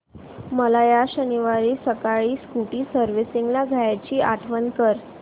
मला या शनिवारी सकाळी स्कूटी सर्व्हिसिंगला द्यायची आठवण कर